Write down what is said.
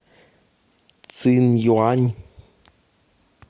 цинъюань